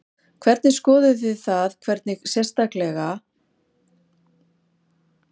Hvernig, skoðuð þið það eitthvað sérstaklega eða vekur það einhverja sérstaka athygli?